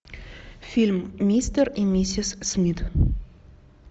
фильм мистер и миссис смит